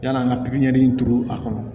Yan'an ka pipiniyɛri turu a kɔnɔ